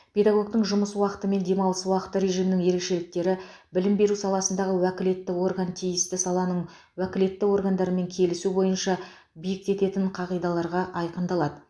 педагогтің жұмыс уақыты мен демалыс уақыты режимінің ерекшеліктері білім беру саласындағы уәкілетті орган тиісті саланың уәкілетті органдарымен келісу бойынша бекітетін қағидаларда айқындалады